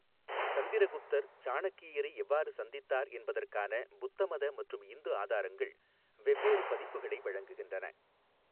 சந்திரகுப்தர் சாணக்கியரை எவ்வாறு சந்தித்தார் என்பதற்கான புத்தமத மற்றும் இந்து ஆதாரங்கள் வெவ்வேறு பதிப்புகளை வழங்குகின்றன.